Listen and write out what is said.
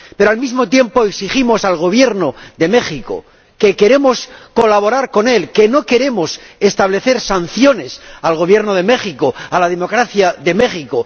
Pero, al mismo tiempo, decimos al Gobierno de México que queremos colaborar con él, que no queremos establecer sanciones al Gobierno de México, a la democracia de México.